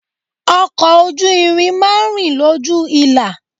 Ọkọ̀ ojú irin máa ń rìn lójú ìlà.